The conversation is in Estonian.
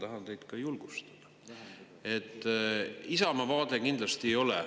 Ma tahan teid julgustada, et Isamaa vaade kindlasti ei ole …